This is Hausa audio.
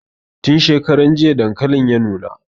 Tin shekaran jiya dankalin ya nuna